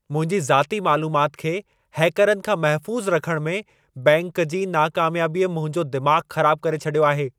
मुंहिंजी ज़ाती मालुमात खे हैकरनि खां महफ़ूज़ रखण में बैंक जी नाकामियाबीअ मुंहिंजो दिमाग़ु ख़राबु करे छॾियो आहे।